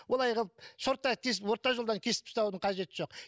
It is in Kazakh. олай қылып шорттай тесіп орта жолдан кесіп тастаудың қажеті жоқ